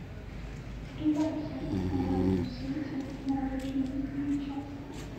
прибавь яркость на главном свете на рабочем месте на час